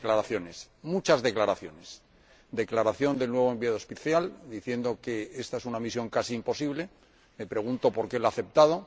Y declaraciones, muchas declaraciones declaración del nuevo Enviado Especial, diciendo que esta es una misión casi imposible me pregunto por qué la ha aceptado